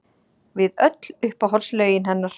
Við öll uppáhaldslögin hennar!